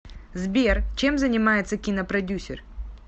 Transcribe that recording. сбер чем занимается кинопродюсер